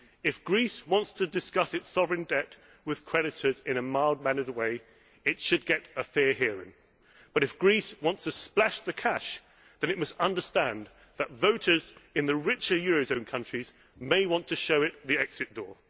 over. If Greece wants to discuss its sovereign debt with creditors in a mild mannered way, it should get a fair hearing, but if Greece wants to splash the cash, it must understand that voters in the richer eurozone countries may want to show it the exit